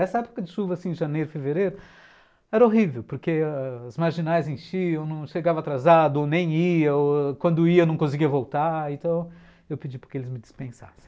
Essa época de chuva, assim, de janeiro, fevereiro, era horrível, porque ãh... as marginais enchiam, não chegava atrasado, nem ia ou quando ia não conseguia voltar, então eu pedi para que eles me dispensassem.